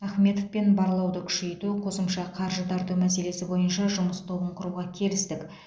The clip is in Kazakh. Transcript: ахметовпен барлауды күшейту қосымша қаржы тарту мәселесі бойынша жұмыс тобын құруға келістік